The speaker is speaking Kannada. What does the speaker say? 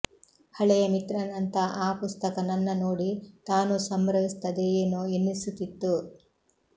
ಹಳೆಯ ಮಿತ್ರನಂಥ ಆ ಪುಸ್ತಕ ನನ್ನ ನೋಡಿ ತಾನೂ ಸಂಭ್ರಮಿಸುತ್ತದೆಯೇನೋ ಎನ್ನಿಸುತ್ತಿತ್ತು